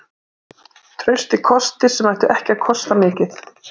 Traustir kostir sem ættu ekki að kosta mikið.